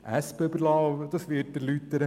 Sie wird dies erläutern.